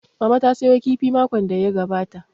Mama ta sayo kifi makon da ya gabata